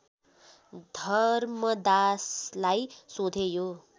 धर्मदासलाई सोधे यो